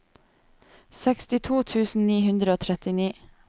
sekstito tusen ni hundre og trettini